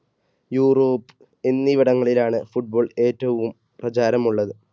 Europe എന്നിവിടങ്ങളിലാണ് football ഏറ്റവും പ്രചാരമുള്ളത്.